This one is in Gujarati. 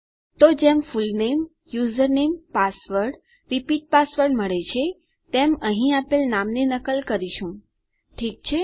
તો જેમ full name username password repeat password મળે છે તેમ અહીં આપેલ નામની નકલ કરીશું ઠીક છે